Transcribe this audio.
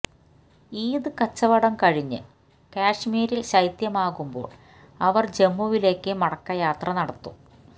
ഈദ് കച്ചവടം കഴിഞ്ഞു കശ്മീരില് ശൈത്യമാകുമ്പോള് അവര് ജമ്മുവിലേക്കു മടക്കയാത്ര നടത്തും